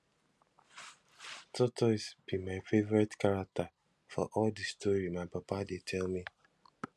tortoise be my favourite character for all the story my papa dey tell me